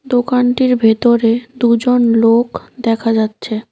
দোকানটির ভেতরে দুজন লোক দেখা যাচ্ছে।